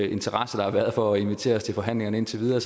interesse der har været for at invitere os til forhandlingerne indtil videre